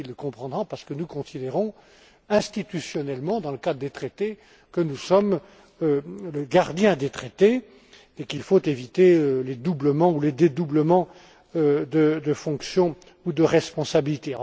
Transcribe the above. Busuttil le comprendra parce que nous considérons institutionnellement, dans le cadre des traités, que nous sommes le gardien des traités et qu'il faut éviter les doublements ou les dédoublements de fonction ou de responsabilité.